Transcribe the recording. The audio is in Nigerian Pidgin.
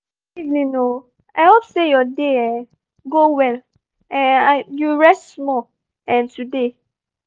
good evening! i hope say your day um go well um and you rest small um today